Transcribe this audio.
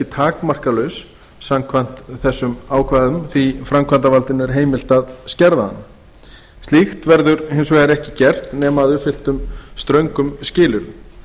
takmarkalaus samkvæmt þessum ákvæðum því framkvæmdarvaldinu er heimilt að skerða hana slíkt verður hins vegar ekki gert nema að uppfylltum ströngum skilyrðum